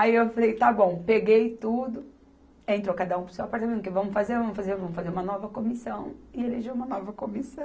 Aí eu falei, está bom, peguei tudo, entrou cada um para o seu apartamento, porque vamos fazer, vamos fazer, vamos fazer uma nova comissão, e eleger uma nova comissão.